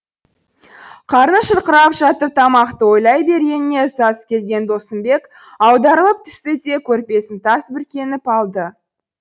қарны шұрқырап жатып тамақты ойлай бергеніне ызасы келген досымбек аударылып түсті де көрпесін тас бүркеніп алды